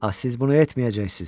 A siz bunu etməyəcəksiniz.